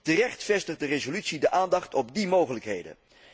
Terecht vestigt de resolutie de aandacht op die mogelijkheden.